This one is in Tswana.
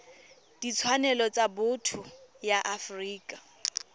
ditshwanelo tsa botho ya afrika